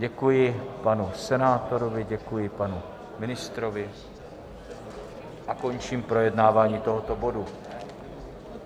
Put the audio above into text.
Děkuji panu senátorovi, děkuji panu ministrovi a končím projednávání tohoto bodu.